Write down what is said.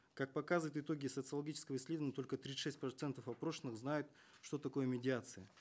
как показывают итоги социологического исследования только тридцать шесть процентов опрошенных знают что такое медиация